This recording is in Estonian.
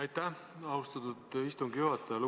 Aitäh, austatud istungi juhataja!